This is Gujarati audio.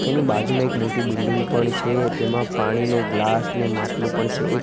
એની બાજુમાં એક મોટી બિલ્ડીંગ પણ છે તેમા પાણીનુ ગ્લાસ અને માટલુ પણ છે એક--